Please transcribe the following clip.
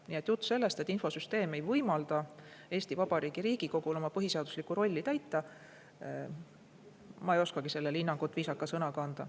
Nii et jutt sellest, et infosüsteem ei võimalda Eesti Vabariigi Riigikogul oma põhiseaduslikku rolli täita – ma ei oskagi sellele hinnangut viisaka sõnaga anda.